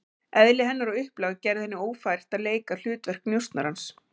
Eðli hennar og upplag gerði henni ófært að leika hlutverk njósnarans.